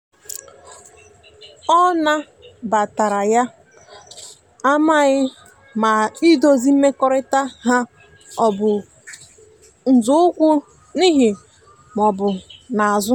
ọ na batara yana amaghi ma idozi mmekorita ha ọbụ nzọụkwụ n'ihu ma ọbụ n'azu